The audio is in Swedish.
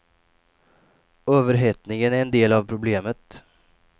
Överhettningen är en del av problemet.